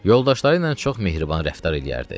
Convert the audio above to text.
Yoldaşları ilə çox mehriban rəftar eləyərdi.